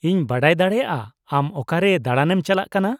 -ᱤᱧ ᱵᱟᱰᱟᱭ ᱫᱟᱲᱮᱭᱟᱜᱼᱟ ᱟᱢ ᱚᱠᱟᱨᱮ ᱫᱟᱬᱟᱱᱮᱢ ᱪᱟᱞᱟᱜ ᱠᱟᱱᱟ ?